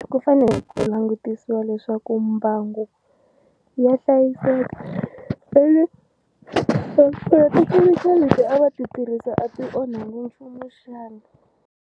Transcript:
Ku fanele ku langutisiwa leswaku mbangu ya hlayiseka ene naswona leti a va ti tirhisa a ti onhakangi nchumu xana.